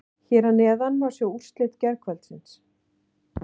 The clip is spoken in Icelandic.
Hér að neðan má sjá úrslit gærkvöldsins.